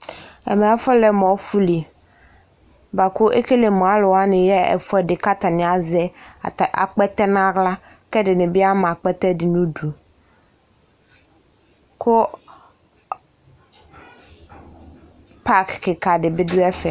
Ɛmɛ afɔlɛ mʋ ɔfʋ li, bʋa kʋ ekele mʋ alʋ wanɩ yaɣa ɛfʋ ɛdɩ, kʋ atanɩ azɛ akpɛtɛ nʋ aɣla, kʋ ɛdɩnɩ bɩ ama akpɛtɛ dɩ nʋ udu, kʋ pak kɩka dɩ bɩ dʋ ɛfɛ